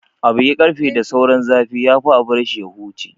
A bugi ƙarfe da sauran zafi, ya fi a bar shi ya huce.